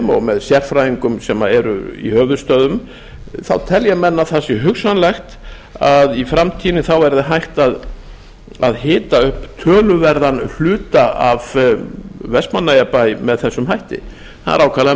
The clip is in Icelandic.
og með sérfræðingum sem eru í höfuðstöðvum þá selja enn að það sé hugsanlegt að í framtíðinni verði hægt að hita upp töluverðan hluta af vestmannaeyjabæ með þessum hætti það er ákaflega